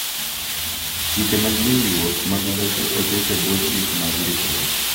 Chike mag winjruok mag lope oket e bwo chik mar ndikruok’.